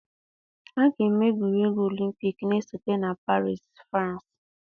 A ga-eme egwuregwu Olympikii na-esote na Paris, Fransi.